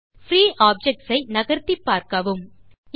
free objects ஐ நகர்த்திப் பார்க்கவும்